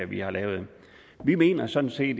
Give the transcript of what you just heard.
vi har lavet vi mener sådan set